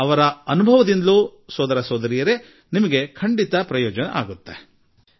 ಅವರ ಅನುಭವ ನಿಮಗೂ ಪ್ರಯೋಜನಕ್ಕೆ ಬರಬಹುದು